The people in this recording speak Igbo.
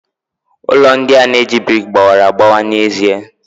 Ụlọ ndị a na-eji brik gbawara agbawa n'ezie.